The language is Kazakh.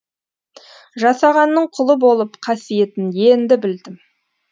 жасағанның құлы болып қасиетін енді білдім